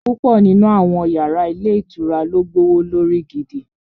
Púpọ̀ nínú àwọn yàrá ilé ìtura ló gbówó lórí gidi